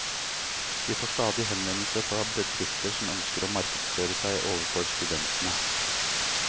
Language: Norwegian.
De får stadig henvendelser fra bedrifter som ønsker å markedsføre seg overfor studentene.